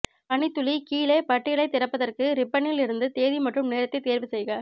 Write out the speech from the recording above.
பணித் துளி கீழே பட்டியலைத் திறப்பதற்கு ரிப்பனில் இருந்து தேதி மற்றும் நேரத்தைத் தேர்வுசெய்க